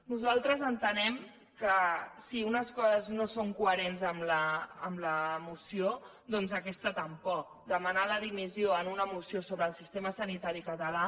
nosaltres entenem que si unes coses no són coherents amb la moció doncs aquesta tampoc demanar la dimissió en una moció sobre el sistema sanitari català